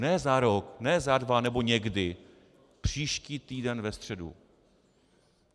Ne za rok, ne za dva nebo někdy, příští týden ve středu.